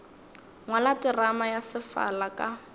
ngwala terama ya sefala ka